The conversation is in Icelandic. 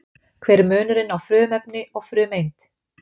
Hver er munurinn á frumefni og frumeind?